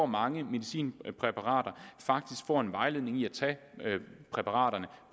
mange medicinpræparater faktisk får en vejledning i at tage præparaterne